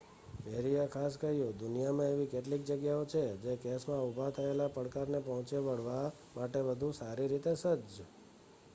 પેરીએ ખાસ કહ્યું દુનિયામાં એવી કેટલીક જગ્યાઓ છે જે આ કેસમાં ઊભા થયેલા પડકારને પહોંચી વળવા માટે વધુ સારી રીતે સજ્જ